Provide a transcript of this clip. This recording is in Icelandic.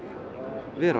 vera